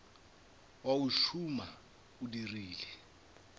wa o tšhuma o dirile